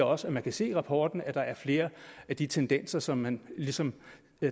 også man kan se i rapporten at der er flere af de tendenser som man ligesom